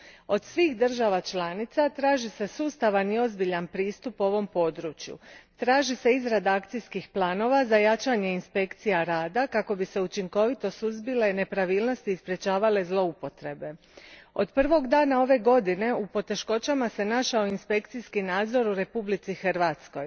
Od svih država članica traži se sustavan i ozbiljan pristup ovom području, traži se izrada akcijskih planova za jačanje inspekcija rada kako bi se učinkovito suzbile nepravilnosti i sprečavale zloupotrebe. Od prvog dana ove godine u poteškoćama se našao inspekcijski nadzor u Republici Hrvatskoj.